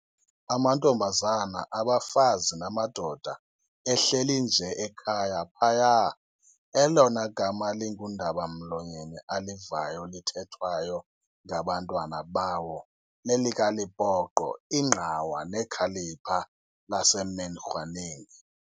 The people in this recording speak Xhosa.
Amantombazana, abafazi namadoda ehleli nje ekhaya phaya, elona gama lingundaba-mlonyeni alivayo lithethwayo ngabantwana bawo, lelikaLepoqo, ingqawa nekhalipha laseMenkhoeneng.